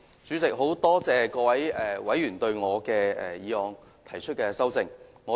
主席，很多謝各位議員對我的議案提出修正案。